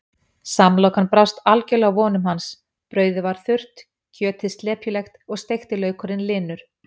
Samlokan brást algjörlega vonum hans, brauðið var þurrt, kjötið slepjulegt og steikti laukurinn linur.